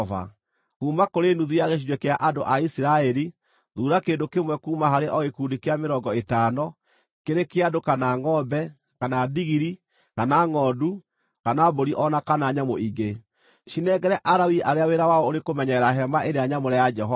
Kuuma kũrĩ nuthu ya gĩcunjĩ kĩa andũ a Isiraeli, thuura kĩndũ kĩmwe kuuma harĩ o gĩkundi kĩa mĩrongo ĩtano, kĩrĩ kĩa andũ, kana ngʼombe, kana ndigiri, kana ngʼondu, kana mbũri o na kana nyamũ ingĩ. Cinengere Alawii arĩa wĩra wao ũrĩ kũmenyerera Hema-ĩrĩa-Nyamũre ya Jehova.”